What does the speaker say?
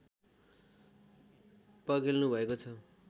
पर्गेल्नुभएको छ